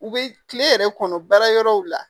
U bɛ tile yɛrɛ kɔnɔ baara yɔrɔw la